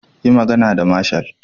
Yi magana da marshal.